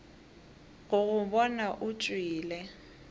go go bona o tšwele